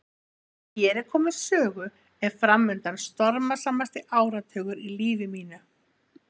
Þegar hér er komið sögu er framundan stormasamasti áratugur í lífi mínu.